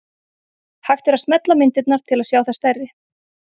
Hægt er að smella á myndirnar til að sjá þær stærri.